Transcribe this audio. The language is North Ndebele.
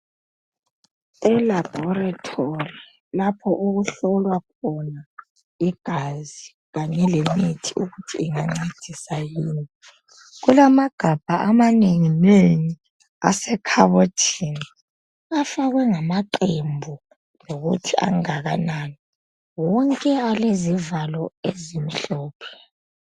ELaboratory, lapho okuhlolwa khona igazi. Kanye lemithi ukuthi ongancedisa, yiwuphi. Kulamagabha amanenginengi, asekhabothini. Afakwe ngamaqembu, lokuthi angakanani. Wonke alezivalo ezimhlophe.